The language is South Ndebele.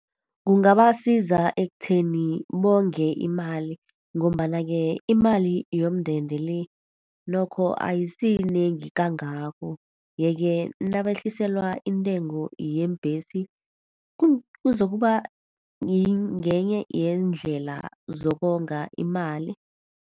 Kungabasiza ekutheni bonge imali, ngombana-ke imali yomndende le, nokho ayisiyinengi kangako. Yeke nabehliselwa intengo yeembhesi, kuzokuba ngenye yeendlela zokonga imali.